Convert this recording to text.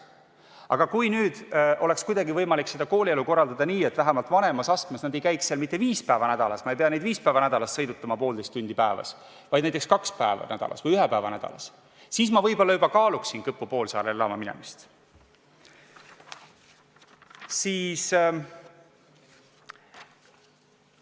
Aga kui oleks kuidagi võimalik koolielu korraldada nii, et vähemalt vanemas astmes ei käiks nad seal mitte viis päeva nädalas ja ma ei peaks neid viis päeva nädalas sõidutama poolteist tundi päevas, vaid näiteks kaks päeva nädalas või ühe päeva nädalas, siis ma võib-olla juba kaaluksin Kõpu poolsaarele elama minemist.